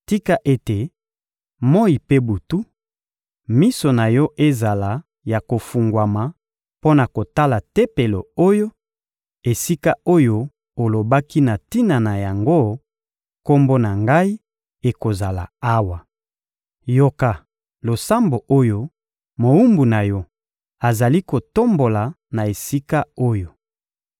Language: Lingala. Tika ete, moyi mpe butu, miso na Yo ezala ya kofungwama mpo na kotala Tempelo oyo, esika oyo olobaki na tina na yango: ‹Kombo na Ngai ekozala awa.› Yoka losambo oyo mowumbu na Yo azali kotombola na esika oyo.